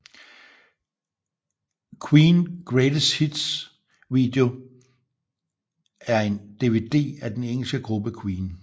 Queen Greatest Video Hits 1 er en DVD af den engelske gruppe Queen